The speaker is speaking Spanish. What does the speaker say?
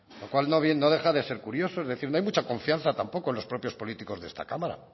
lo cual no deja de ser curioso es decir no hay mucha confianza tampoco en los propios políticos de esta cámara